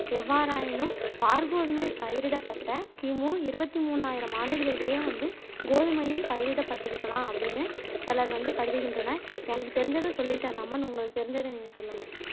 எவ்வாறாயினும் வார்கோதுமை பயிரிடப்பட்ட கிமு இருவத்து மூனாயிரம் ஆண்டுகளிலயே வந்து கோதுமையும் பயிரிடப் பட்டிருக்கலாம் அப்பிடினு சிலர் வந்து கருதுகின்றனர் எனக்கு தெரிஞ்சத சொல்லிட்டேன் ராமன் உங்களுக்கு தெரிஞ்சத நீங்க சொல்லுங்க